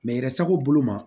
yɛrɛ sago bolo ma